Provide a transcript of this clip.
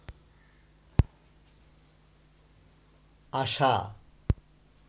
আশা